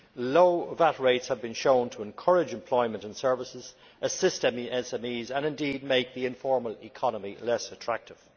Low VAT rates have been shown to encourage employment in services, assist SMEs, and, indeed, make the informal economy less attractive.